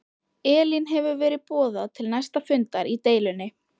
Elín hefur verið boðað til næsta fundar í deilunni?